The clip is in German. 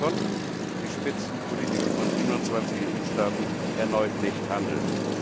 konnten die Spitzenpolitiker von 27 EU Staaten erneut nicht handeln.